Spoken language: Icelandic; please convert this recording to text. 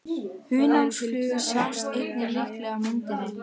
Hunangsflugur sjást einnig líklega á myndinni.